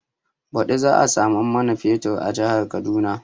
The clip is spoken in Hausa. Baɗi za a samu man fetur a jihar Kaduna